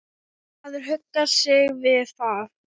Maður huggar sig við það.